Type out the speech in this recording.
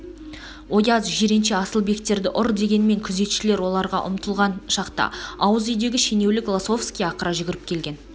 ояз жиренше асылбектерді ұр дегенмен күзетшілер оларға ұмтылған шақта ауыз үйдегі шенеулік лосовский ақыра жүгіріп келген